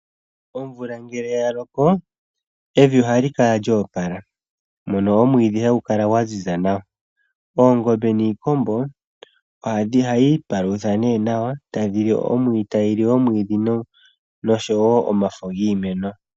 Omvula ngele ya loko evi ohali kala lyoopala mono omwiidhi hagu kala gwa ziza nawa. Oongombe niikombo ohayi palutha ne nawa tayili omwiidhi noshowo omafo giimeno.